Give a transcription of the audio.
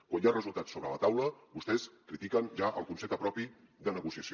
quan hi ha resultats sobre la taula vostès critiquen ja el concepte propi de negociació